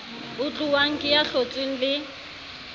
utluwang ke ya hlotsweng le